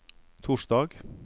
torsdag